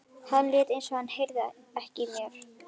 Hann lét eins og hann heyrði ekki í mér.